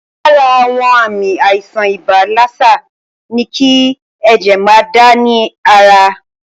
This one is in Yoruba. Lára àwọn àmì àìsàn ibà lásà ní kí ẹ̀jẹ̀ máa dà ní ara.